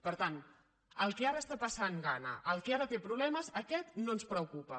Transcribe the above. per tant el que ara està passant gana el que ara té problemes aquest no ens preocupa